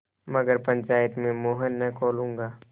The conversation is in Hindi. मगर पंचायत में मुँह न खोलूँगा